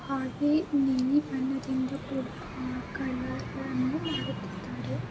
ಹಾಗೆ ನೀಲಿ ಬಣ್ಣದಿಂದ ಕೂಡಿದ ಕಲರ್ಗಳನ್ನು ಮಾಡುತ್ತಿದ್ದಾರೆ.